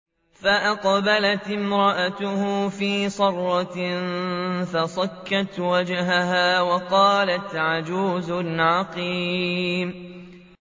فَأَقْبَلَتِ امْرَأَتُهُ فِي صَرَّةٍ فَصَكَّتْ وَجْهَهَا وَقَالَتْ عَجُوزٌ عَقِيمٌ